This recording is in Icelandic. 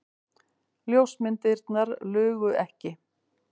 Ljósmyndirnar lugu ekki.